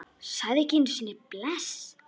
Sagði ekki einu sinni bless.